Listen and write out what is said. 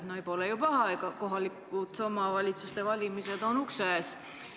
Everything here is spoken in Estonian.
Ei, no pole ju paha, kohalike omavalitsuste valimised on ukse ees.